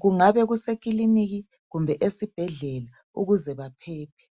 Kungabe kusekiliniki kumbe esibhedlela ukuze baphephe.